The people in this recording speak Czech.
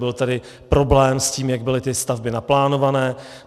Byl tady problém s tím, jak byly ty stavby naplánovány.